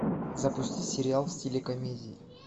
запусти сериал в стиле комедии